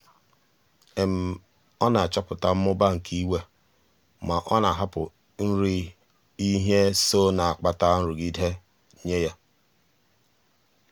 ọ na-achọpụta mmụba nke iwe ma ọ na-ahapụ nri ihe so na-akpata nrụgide nye ya.